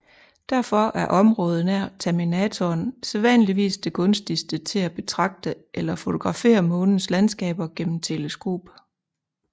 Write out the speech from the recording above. Derfor er området nær terminatoren sædvanligvis det gunstigste til at betragte eller fotografere månens landskaber gennem teleskop